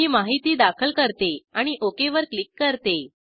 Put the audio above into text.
मी माहिती दाखल करते आणि ओक वर क्लिक करते